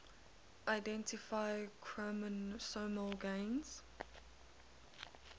identify chromosomal gains